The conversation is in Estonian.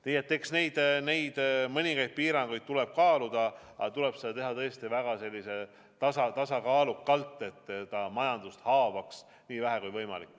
Nii et eks neid mõningaid piiranguid tuleb kaaluda, aga seda tuleb teha tõesti väga tasakaalukalt, et see haavaks majandust nii vähe, kui võimalik.